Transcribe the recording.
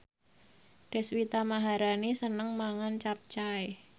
Deswita Maharani seneng mangan capcay